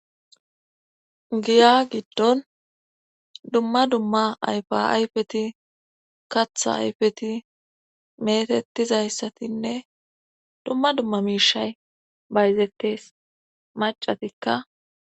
Giya giddon dumma dumma ayfa ayfeti katha ayfeti metettizayssatinne dumma dumma miishay bayzettes macatikka.